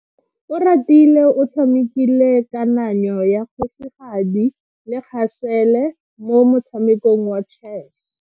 Oratile o tshamekile kananyo ya kgosigadi le khasele mo motshamekong wa chess.